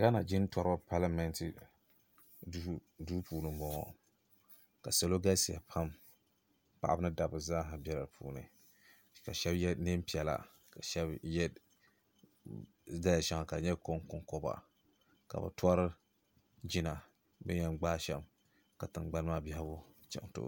ghana jintɔriba palimeenti duu puuni m-bɔŋɔ ka salo galisi pam paɣaba ni dabba zaaha bela di puuni ka shaba ye neem' piɛla ka shaba ye daliya shaŋa ka di nyɛ kɔŋkɔba ka bɛ tɔri jina bɛ ni yɛn gbaai sham ka tiŋgbani maa biɛhigu chaŋ tooni